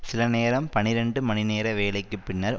சில நேரம் பனிரண்டு மணிநேர வேலைக்கு பின்னர்